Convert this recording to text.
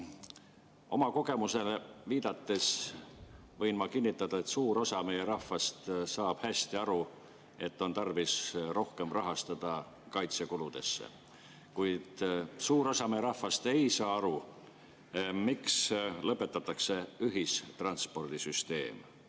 Oma kogemusele viidates võin ma kinnitada, et suur osa meie rahvast saab hästi aru, et on tarvis rohkem rahastada kaitsekulusid, kuid suur osa meie rahvast ei saa aru, miks lõpetatakse ühistranspordisüsteem.